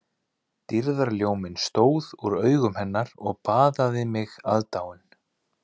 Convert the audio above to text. Dýrðarljóminn stóð úr augum hennar og baðaði mig aðdáun